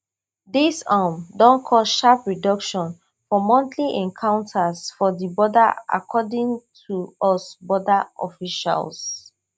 dis um don cause sharp reduction for monthly encounters for di border according to us border officials